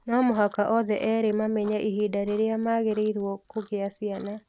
No mũhaka othe erĩ mamenye ihinda rĩrĩa magĩrĩirũo kũgĩa ciana.